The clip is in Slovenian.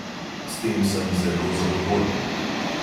S tem sem zelo zadovoljen.